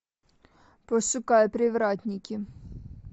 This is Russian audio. пошукай привратники